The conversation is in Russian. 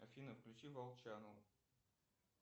афина включи волчанову